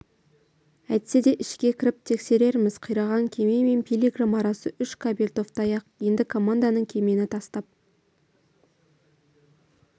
әйтсе де ішке кіріп тексерерміз қираған кеме мен пилигрим арасы үш кабельтовтай-ақ енді команданың кемені тастап